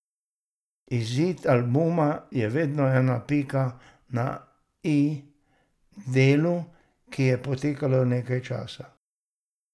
Izid albuma je vedno ena pika na i delu, ki je potekalo nekaj časa.